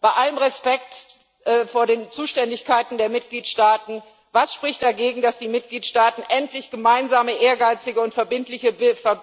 Bei allem Respekt vor den Zuständigkeiten der Mitgliedstaaten Was spricht dagegen, dass die Mitgliedstaaten endlich gemeinsame, ehrgeizige und verbindliche